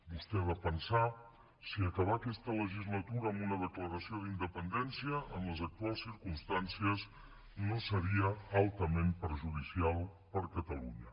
vostè ha de pensar si acabar aquesta legislatura amb una declaració d’independència en les actuals circumstàncies no seria altament perjudicial per a catalunya